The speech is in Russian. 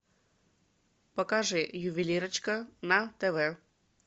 покажи ювелирочка на тв